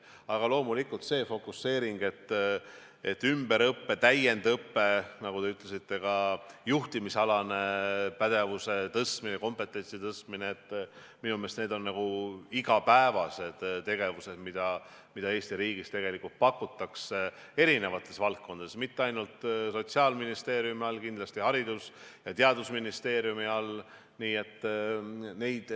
Aga loomulikult, see fokuseering: ümberõpe, täiendõpe, nagu te ütlesite, ka juhtimisalase pädevuse tõstmine, kompetentsi parandamine – minu meelest on need igapäevased tegevused, mida Eesti riigis pakutakse eri valdkondades, mitte ainult Sotsiaalministeeriumi valdkonnas, vaid kindlasti ka Haridus- ja Teadusministeeriumi valdkonnas.